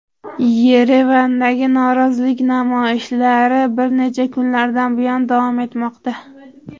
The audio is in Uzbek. Yerevandagi norozilik namoyishlari bir necha kunlardan buyon davom etmoqda.